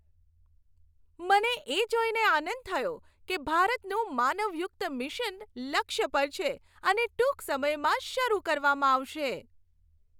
મને એ જોઈને આનંદ થયો કે ભારતનું માનવયુક્ત મિશન લક્ષ્ય પર છે અને ટૂંક સમયમાં શરૂ કરવામાં આવશે.